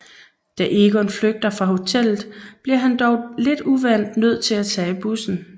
Da Egon flygter fra hotellet bliver han dog lidt uvant nød til at tage bussen